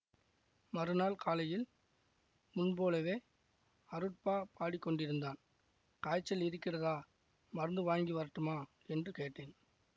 மறுநாள் காலையில் முன்போலவே அருட்பா பாடிக்கொண்டிருந்தான் காய்ச்சல் இருக்கிறதா மருந்து வாங்கி வரட்டுமா என்று கேட்டேன்